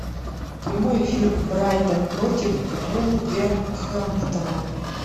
прямой эфир брайтон против вулверхэмптона